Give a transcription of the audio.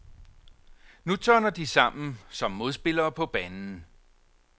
Nu tørner de sammen som modspillere på banen.